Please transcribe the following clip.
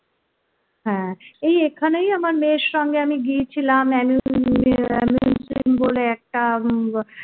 হ্যাঁ এই এখানেই আমার মেয়ের সঙ্গে আমি গিয়েছিলাম বলে একটা